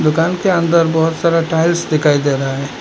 दुकान के अन्दर बहुत सारा टाइल्स दिखाई दे रहा है।